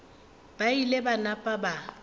ba ile ba napa ba